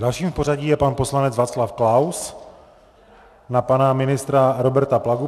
Dalším v pořadí je pan poslanec Václav Klaus na pana ministra Roberta Plagu.